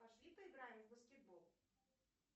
пошли поиграем в баскетбол